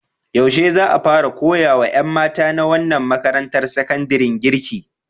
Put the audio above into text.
Yaushe za a fara koya wa ƴan mata na wannan makarantar sakandaren girki?